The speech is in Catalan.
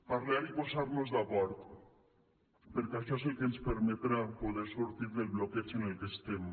parlar i posar nos d’acord perquè això és el que ens permetrà poder sortir del bloqueig en el que estem